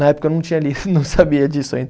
Na época eu não tinha lido, não sabia disso ainda.